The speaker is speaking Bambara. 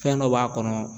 Fɛn dɔ b'a kɔnɔ